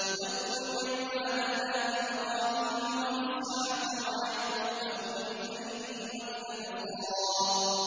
وَاذْكُرْ عِبَادَنَا إِبْرَاهِيمَ وَإِسْحَاقَ وَيَعْقُوبَ أُولِي الْأَيْدِي وَالْأَبْصَارِ